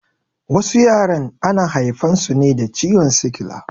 Wasu yaran ana haifan su ne da ciwon sikila